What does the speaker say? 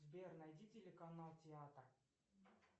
сбер найди телеканал театр